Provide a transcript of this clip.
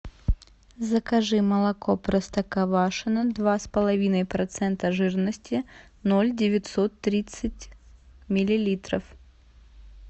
закажи молоко простоквашино два с половиной процента жирности ноль девятьсот тридцать миллилитров